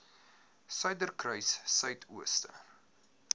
suiderkruissuidooster